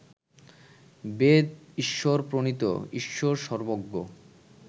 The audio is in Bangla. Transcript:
বেদ ঈশ্বর-প্রণীত, ঈশ্বর সর্ব্বজ্ঞ